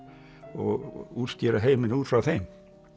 og útskýra heiminn út frá þeim